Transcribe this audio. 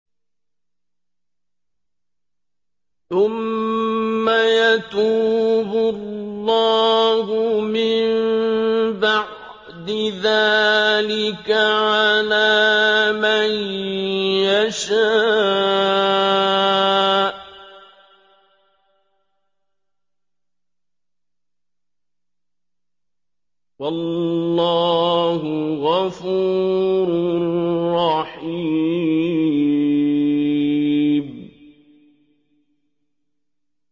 ثُمَّ يَتُوبُ اللَّهُ مِن بَعْدِ ذَٰلِكَ عَلَىٰ مَن يَشَاءُ ۗ وَاللَّهُ غَفُورٌ رَّحِيمٌ